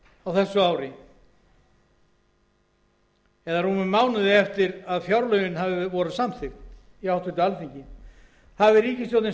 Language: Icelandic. á þessu ári eða rúmum mánuði eftir að fjárlögin voru samþykkt í háttvirtu alþingi hafi ríkisstjórnin